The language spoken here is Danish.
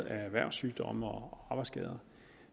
af erhvervssygdomme og arbejdsskader